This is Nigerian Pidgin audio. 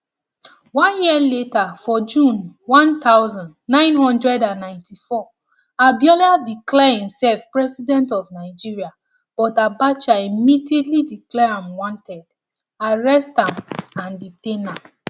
one year later for june one thousand, nine hundred and ninety-four abiola declare imsef president of nigeria but abacha immediately declare am wanted arrest am and detain am